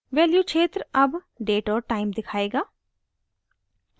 value क्षेत्र अब date और time दिखायेगा